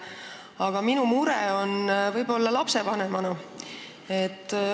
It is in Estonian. Aga minul on mure lapsevanemana.